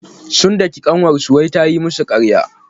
Sun daki ƙanwarsu wai ta yi musu ƙarya.